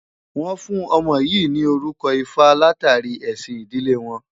Wọ́n fún ọmọ yìí ní orúkọ Ifá látàrí ẹ̀sìn ìdílé wọn.